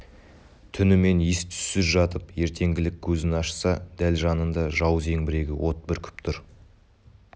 түнімен ес-түссіз жатып ертеңгілік көзін ашса дәл жанында жау зеңбірегі от бүркіп тұр